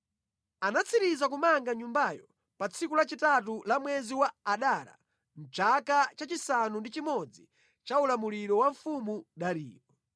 Anatsiriza kumanga Nyumbayo pa tsiku lachitatu la mwezi wa Adara mʼchaka chachisanu ndi chimodzi cha ulamuliro wa mfumu Dariyo.